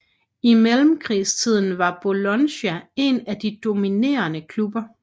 I mellemkrigstiden var Bologna en af de dominerende klubber